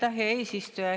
Aitäh, hea eesistuja!